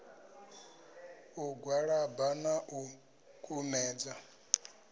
u gwalaba na u kumedza